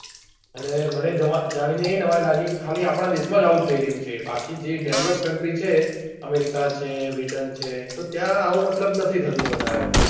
અને મને જાની એ નવાઈ લાગી કે ખાલી આપડા દેશ માં જ આવું થઇ રહ્યું છે બાકી જે develop country છે america છે britain તો ત્યાં આવું મતલબ નથી થતું વધારે